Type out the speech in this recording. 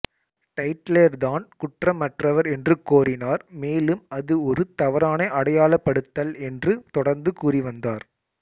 டைட்லெர் தான் குற்றமற்றவர் என்று கோரினார் மேலும் அது ஒரு தவறான அடையாளப்படுத்தல் என்று தொடர்ந்து கூறி வந்தார்